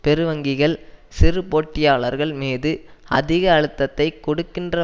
பெரு வங்கிகள் சிறு போட்டியாளர்கள் மீது அதிக அழுத்தத்தை கொடுக்கின்ற